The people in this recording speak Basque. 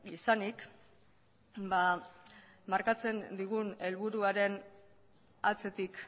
izanik ba markatzen digun helburuaren atzetik